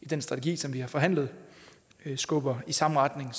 den strategi som vi har forhandlet skubber i samme retning